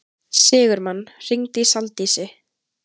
Sigurmann, hringdu í Saldísi.